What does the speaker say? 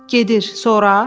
Gedir, sonra?